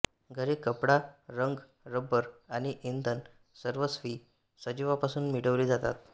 घरे कपडा रंग रबर आणि इंधन सर्वस्वी सजीवापासून मिळवले जातात